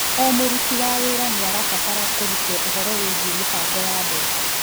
O mũruti wa wĩra nĩ abataraga kũrutwo ũhoro wĩgiĩ mĩbango ya mbeca.